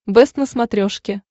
бэст на смотрешке